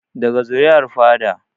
Daga zuri'ar fada